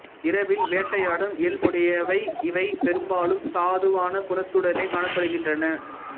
இரவில் வேட்டையாடும் இயல்புடைய இவை பெரும்பாலும் சாதுவான குணத்துடனே காணப்படுகின்றன